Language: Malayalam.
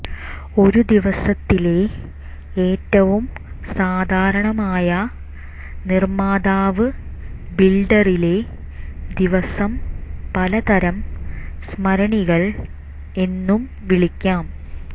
ഈ ദിവസത്തിലെ ഏറ്റവും സാധാരണമായ നിർമ്മാതാവ് ബിൽഡറിലെ ദിവസം പലതരം സ്മരണികൾ എന്നു വിളിക്കാം